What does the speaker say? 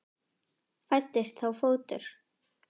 Fæddist þá fótur.